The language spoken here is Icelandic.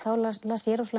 las ég